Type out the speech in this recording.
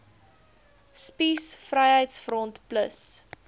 spies vryheids front plus